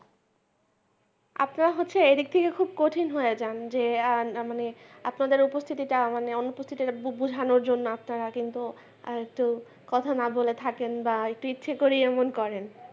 আপনারা হচ্ছেন এই দিক থেকে খুব কঠিন হয়ে যান যে মানে আপনাদের উপস্থিতিটা মানে অনুপস্থিতটা বোঝানোর জন্য আপনারা কিন্তু একটু কথা না বলে থাকেন বা একটু ইচ্ছা করেই এমন করেন।